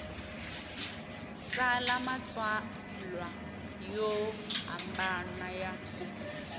tsala matsalwa yo hambana ya